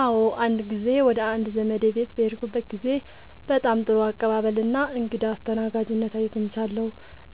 አዎ፣ አንድ ጊዜ ወደ አንድ ዘመዴ ቤት በሄድኩበት ጊዜ በጣም ጥሩ አቀባበል እና እንግዳ አስተናጋጅነት አግኝቻለሁ።